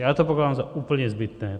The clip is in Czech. Já to pokládám za úplně zbytné.